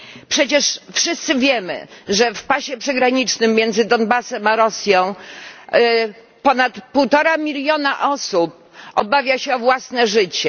Przecież wszyscy wiemy, że w pasie przygranicznym między Donbasem a Rosją ponad półtora miliona osób obawia się o własne życie.